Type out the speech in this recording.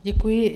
Děkuji.